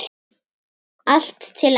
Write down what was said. Allt til enda.